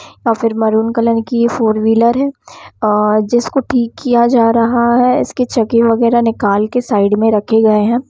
और फिर maroon colour की ये फोर व्हीलर है अ अ जिसको ठीक किया जा रहा है इसके चक्के वगेहरा निकाल कर साइड में रखे गए हैं।